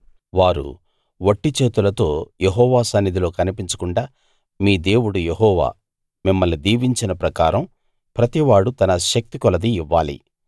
వారు వట్టి చేతులతో యెహోవా సన్నిధిలో కనిపించకుండా మీ దేవుడు యెహోవా మిమ్మల్ని దీవించిన ప్రకారం ప్రతివాడూ తన శక్తి కొలదీ ఇవ్వాలి